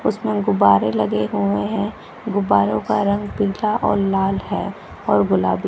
उसमें गुब्बारे लगे हुए हैं गुब्बारो का रंग पीला और लाल है और गुलाबी।